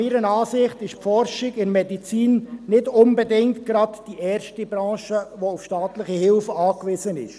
Meiner Ansicht nach ist die Forschung in der Medizin nicht unbedingt die erste Branche, die auf staatliche Hilfe angewiesen ist.